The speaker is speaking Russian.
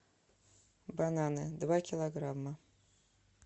бананы два килограмма